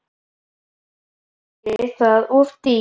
Væri það of dýrt og þá hvers vegna?